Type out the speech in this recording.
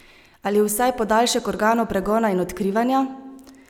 Ali vsaj podaljšek organov pregona in odkrivanja?